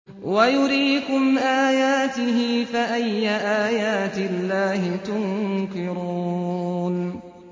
وَيُرِيكُمْ آيَاتِهِ فَأَيَّ آيَاتِ اللَّهِ تُنكِرُونَ